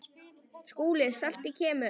SKÚLI: Saltið kemur.